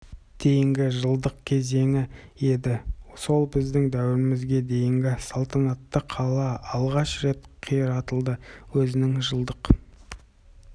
дейінгі жылдық кезеңі еді сол біздің дәуірімізге дейінгі салтанатты қала алғаш рет қиратылады өзінің жылдық